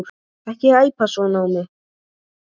Ekki æpa svona á mig.